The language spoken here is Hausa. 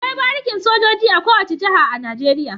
Akwai barikin sojoji a kowane jaha a nigeria